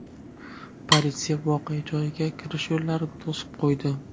Politsiya voqea joyiga kirish yo‘llarini to‘sib qo‘ydi.